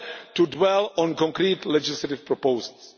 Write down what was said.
to dwell on concrete legislative proposals.